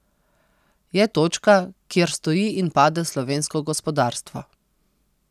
Je točka, kjer stoji in pade slovensko gospodarstvo.